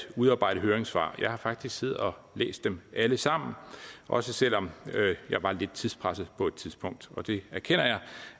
udarbejde høringssvar jeg har faktisk siddet og læst dem alle sammen også selv om jeg var lidt tidspresset på et tidspunkt og det erkender jeg